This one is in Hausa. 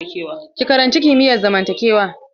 Ki karanci kimiyar zamantakewa!